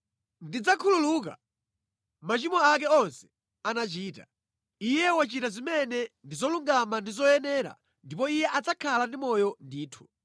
Ndidzakhululuka machimo ake onse anachita. Iye wachita zimene ndi zolungama ndi zoyenera ndipo iye adzakhala ndi moyo ndithu.